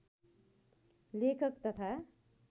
लेखक तथा